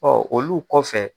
Ɔɔ olu kɔfɛ.